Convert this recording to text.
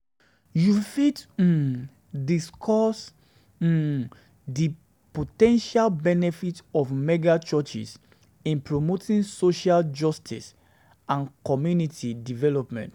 You fit um discuss di po ten tial benefits of mega-churches in promoting social justice um and community development.